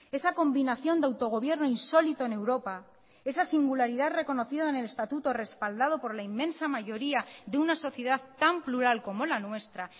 esa combinación de autogobierno insólito en europa esa singularidad reconocida en el estatuto respaldado por la inmensa mayoría de una sociedad tan plural como la nuestra